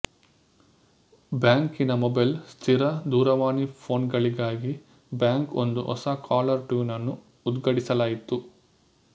ಬ್ಯಾಂಕಿನ ಮೊಬೈಲ್ ಸ್ಥಿರ ದೂರವಾಣಿ ಫೋನ್ಗಳಿಗಾಗಿ ಬ್ಯಾಂಕ್ ಒಂದು ಹೊಸ ಕಾಲರ್ ಟ್ಯೂನ್ ಅನ್ನು ಉದ್ಘಾಟಿಸಲಾಯಿತು